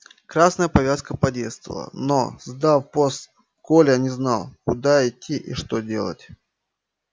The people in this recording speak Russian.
красная повязка подействовала но сдав пост коля не знал куда идти и что делать